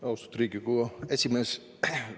Austatud Riigikogu esimees!